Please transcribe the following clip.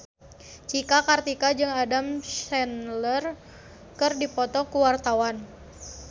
Cika Kartika jeung Adam Sandler keur dipoto ku wartawan